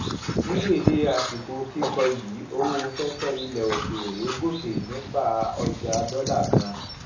ní dédé àsìkò kíkọ yìí owó fẹfẹ ilẹ òkèèrè gòkè nípa ọjà dọlà kan